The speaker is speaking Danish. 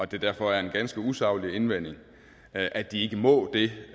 det derfor er en ganske usaglig indvending at de ikke må det